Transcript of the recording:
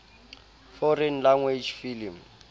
foreign language film